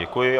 Děkuji.